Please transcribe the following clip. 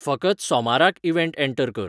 फकत सोमाराक event enter कर